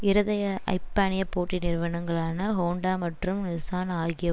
இரதய ஐப்பானிய போட்டி நிறுவனங்களான ஹோன்டா மற்றும் நிஸ்ஸான் ஆகிய